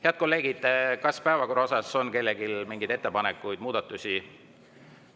Head kolleegid, kas päevakorra kohta on kellelgi mingeid ettepanekuid, muudatusi?